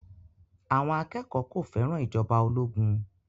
Àwọn akẹ́kọ̀ọ́ kò fẹ́ràn ìjọba ológun